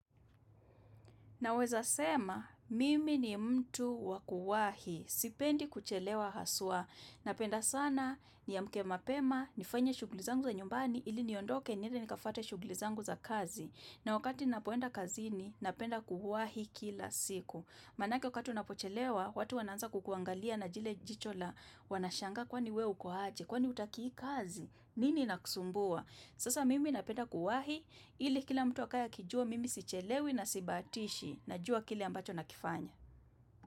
Naweza sema, mimi ni mtu wa kuwahi, sipendi kuchelewa haswa. Napenda sana, niamke mapema, nifanye shugli zangu za nyumbani, ili niondoke niende nikafate shugli zangu za kazi. Na wakati napoenda kazini, napenda kuwahi kila siku. Manake wakati napochelewa, watu wanaanza kukuangalia na jile jicho la, wanashanga kwani we uko haje, kwani hutaki hii kazi, nini inakusumbua. Sasa mimi napenda kuwahi ili kila mtu akaye akijua mimi sichelewi na sibatishi najua kile ambacho nakifanya.